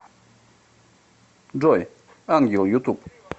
джой ангел ютуб